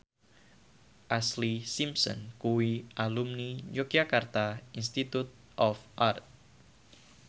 Ashlee Simpson kuwi alumni Yogyakarta Institute of Art